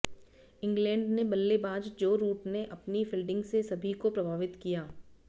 England ने बल्लेबाज Joe Root ने अपनी फील्डिंग से सभी को प्रभावित किया